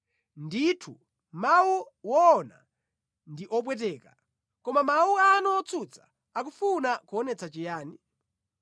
Ndithu, mawu owona ndi opweteka! Koma mawu anu otsutsa akufuna kuonetsa chiyani?